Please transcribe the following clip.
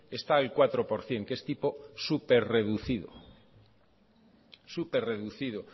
está al cuatro por ciento que es tipo súper reducido súper reducido